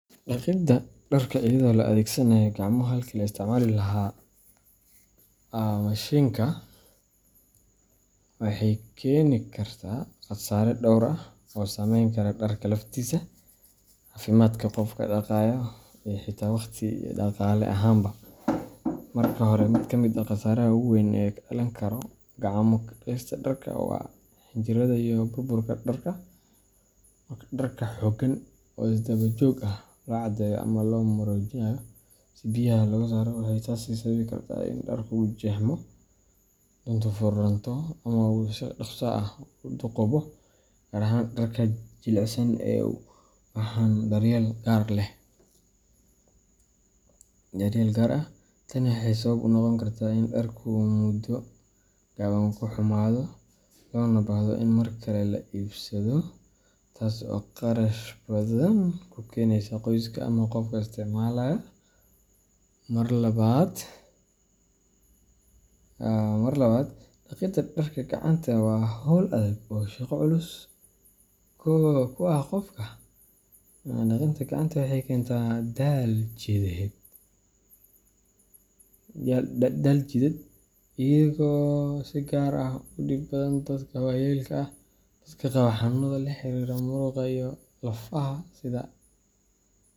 Dhaqidda dharka iyadoo la adeegsanayo gacmo halkii laga isticmaali lahaa mashiinka dharka waxay keeni kartaa khasaare dhowr ah, oo saameyn kara dharka laftiisa, caafimaadka qofka dhaqaaya, iyo xitaa waqti iyo dhaqaale ahaanba. Marka hore, mid ka mid ah khasaaraha ugu weyn ee ka dhalan kara gacmo ku dhaqista dharka waa xinjiridda iyo burburka dharka. Marka dharka si xoogan oo isdaba joog ah loo cadayo ama loo maroojinayo si biyaha looga saaro, waxay taasi sababi kartaa in dharku jeexmo, duntu furanto, ama uu si dhakhso ah u duugoobo, gaar ahaan dharka jilicsan ee u baahan daryeel gaar ah. Tani waxay sabab u noqon kartaa in dharkii uu muddo gaaban ku xumaado, loona baahdo in mar kale la iibsado, taas oo kharash badan ku keenaysa qoyska ama qofka isticmaalaya. Marka labaad, dhaqidda dharka gacanta waa hawl adag oo shaqo culus ku ah qofka. Dhaqidaa gacanta waxay keentaa daal jidheed, iyadoo si gaar ah ugu dhib badan dadka waayeelka ah, dadka qaba xanuunnada la xiriira murqaha iyo lafaha sida.